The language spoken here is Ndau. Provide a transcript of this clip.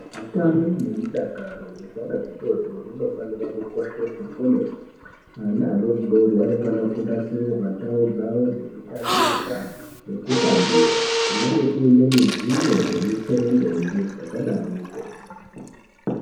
Utano nemudakaro hwezvana zvitotori unofanira kukosheswa kwemene vana vadori dori vanofana unasirirwa ndau dzavo dzekutambisa nekutambira kunenge kune mijuwe nemutserendende zvakadaroko.